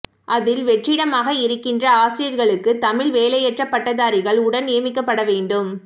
அதில் வெற்றிடமாக இருக்கின்ற ஆசிரியர்களுக்கு தமிழ் வேலையற்ற பட்டதாரிகள் உடன் நியமிக்கப்படவேண்டும்